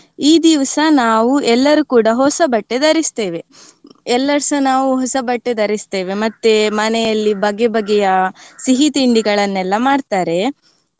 ಈ ದಿವ್ಸ ನಾವು ಎಲ್ಲರೂ ಕೂಡ ಹೊಸ ಬಟ್ಟೆ ಧರಿಸ್ತೇವೆ. ಎಲ್ಲರ್ಸ ನಾವು ಹೊಸ ಬಟ್ಟೆ ಧರಿಸ್ತೇವೆ ಮತ್ತೆ ಮನೆಯಲ್ಲಿ ಬಗೆ ಬಗೆಯ ಸಿಹಿ ತಿಂಡಿಗಳನ್ನೆಲ್ಲ ಮಾಡ್ತಾರೆ.